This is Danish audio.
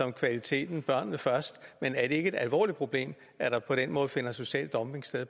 kvaliteten børnene først men er det ikke et alvorligt problem at der på den måde finder social dumping sted